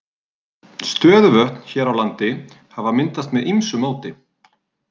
Stöðuvötn hér á landi hafa myndast með ýmsu móti.